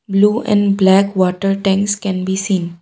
blue and black water tanks can be seen.